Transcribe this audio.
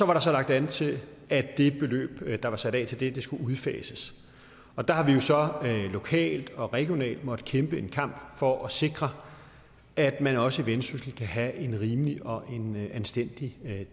var så lagt an til at det beløb der var sat af til det skulle udfases og der har vi lokalt og regionalt måttet kæmpe en kamp for at sikre at man også i vendsyssel kan have en rimelig og anstændig